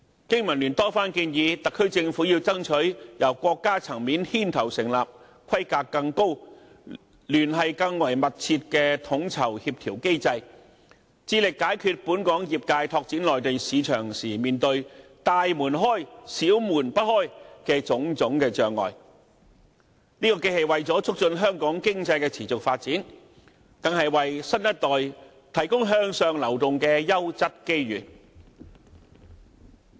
經民聯多番建議特區政府要爭取由國家層面牽頭成立規格更高、聯繫更為密切的統籌協調機制，致力解決本港業界拓展內地市場時面對"大門開，小門不開"的種種障礙，這既是為了促進香港經濟的持續發展，更是為新一代提供向上流動的優質機遇。